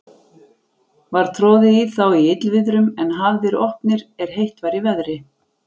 Var troðið í þá í illviðrum, en hafðir opnir, er heitt var í veðri.